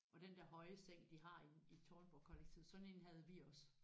Og den der høje seng de har inde i Tårnborgkollektivet sådan én havde vi også